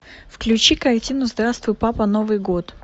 включи картину здравствуй папа новый год